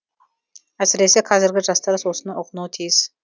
әсіресе қазіргі жастар осыны ұғынуы тиіс